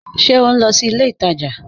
Ṣe o nlọ sí ilẹ̀ ìtaja?